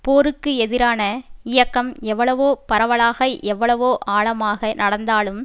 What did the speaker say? போருக்கு எதிரான இயக்கம் எவ்வளவோ பரவலாக எவ்வளவோ ஆழமாக நடந்தாலும்